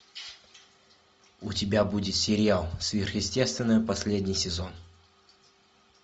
у тебя будет сериал сверхъестественное последний сезон